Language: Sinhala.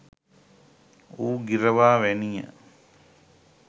වූ ගිරවා වැනිය.